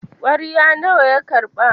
kwarya nawa ya karɓa?